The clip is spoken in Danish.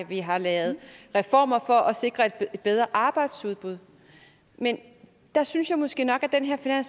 vi har lavet reformer for at sikre et bedre arbejdsudbud men der synes jeg måske nok at den her